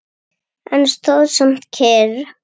En stóð samt kyrr.